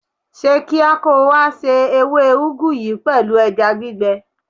Ṣe kíá kó o wá se ewé úgú yìí pẹ̀lú ẹja gbígbẹ.